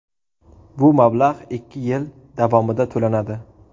Bu mablag‘ ikki yil davomida to‘lanadi.